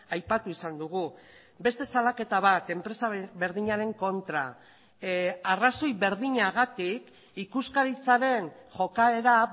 aipatu izan dugu beste salaketa bat enpresa berdinaren kontra arrazoi berdinagatik ikuskaritzaren jokaera